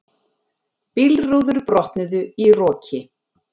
Bílrúður brotnuðu í roki